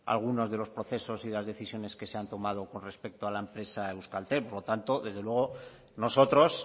algunos de los procesos y de las decisiones que se han tomado con respecto a la empresa euskaltel por lo tanto desde luego nosotros